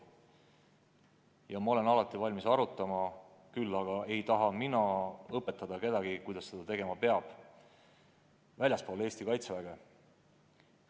Ja ma olen alati valmis sel teemal arutama, küll aga ei taha ma õpetada kedagi, kuidas seda tegema peab väljaspool Eesti Kaitseväge.